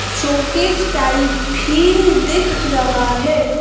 Showcase type भी दिख रहा है।